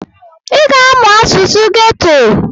ị ga-amụ asụsụ geto!